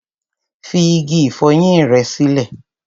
Fi igi ìfọyín rẹ sílẹ̀.